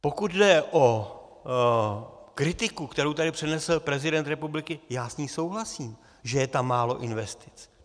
Pokud jde o kritiku, kterou tady přednesl prezident republiky, já s ní souhlasím, že je tam málo investic.